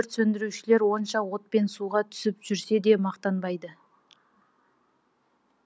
өрт сөндірушілер қанша от пен суға түсіп жүрсе де мақтанбайды